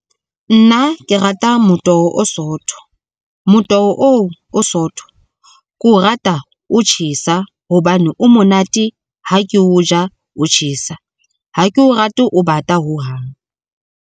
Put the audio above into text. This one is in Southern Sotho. Nna ke rata motoho o sootho. Motoho oo o sootho, ke o rata o tjhesa hobane o monate ha ke o ja o tjhesa. Ha ke o rate o bata ho hang.